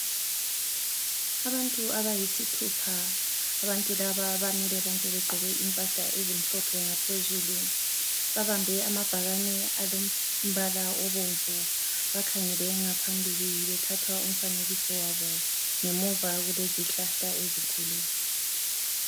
Abantu abayisithupha, abantu laba bamile bonke begqoke impahla ezimhlophe ngaphezulu. Babambe amabhakane alombala obomvu, bakhangele ngaphambili bethatha umfanekiso wabo. Ngemuva kulezihlahla ezinkulu.